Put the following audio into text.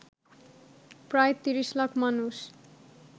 প্রায় ৩০ লাখ মানুষ